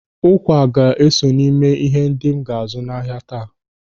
Ụkwa ga-eso n'ime ihe ndị m ga-azụ n'ahia taa.